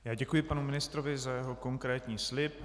Já děkuji panu ministrovi za jeho konkrétní slib.